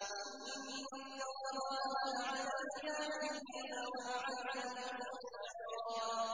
إِنَّ اللَّهَ لَعَنَ الْكَافِرِينَ وَأَعَدَّ لَهُمْ سَعِيرًا